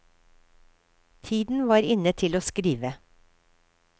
Tiden var inne til å skrive.